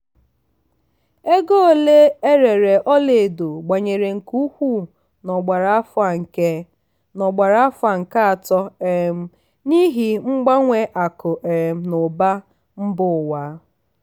ego ole erere ọla edo gbanwere nke ukwuu n'ogbara afọ nke n'ogbara afọ nke atọ um n'ihi mgbanwe akụ um na ụba mba ụwa.